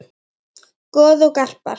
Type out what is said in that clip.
Goð og garpar